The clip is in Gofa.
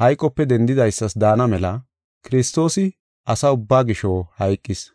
hayqope dendidaysas daana mela Kiristoosi asa ubbaa gisho hayqis.